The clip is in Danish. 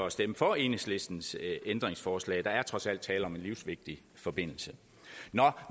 at stemme for enhedslistens ændringsforslag for der er trods alt tale om en livsvigtig forbindelse nå